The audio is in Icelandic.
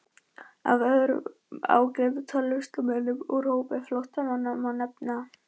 Af öðrum ágætum tónlistarmönnum úr hópi flóttamanna má nefna